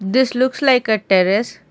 this looks like a terrace.